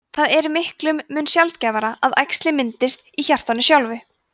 það er miklum mun sjaldgæfara að æxli myndist í hjartanu sjálfu